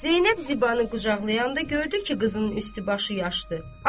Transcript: Zeynəb Zibanı qucaqlayanda gördü ki, qızının üstü başı yaşdır.